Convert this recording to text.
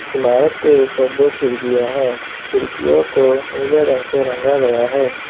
इमारत के ऊपर दो खिडकियां हैं खिड़कीयों को नीले रंग से रंगा गया है।